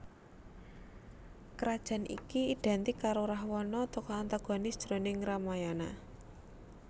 Krajan iki idhèntik karo Rahwana tokoh antagonis jroning Ramayana